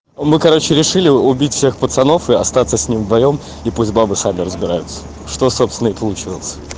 мы короче решили убить всех пацанов и остаться с ним вдвоём и пусть бабы сами разбираются что собственно и получилось